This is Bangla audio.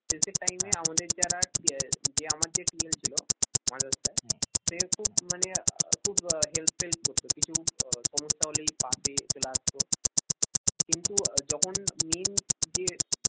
শেষের time আমাদের যারা যে আমার যে TL ছিল মানষ sir সে খুব মানে খুব help করত কিছু সমস্যা হলেই পাশে চলে আসতো কিন্তু যখন main যে